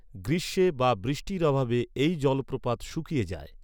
গ্রীষ্মে বা বৃষ্টির অভাবে এই জলপ্রপাত শুকিয়ে যায়।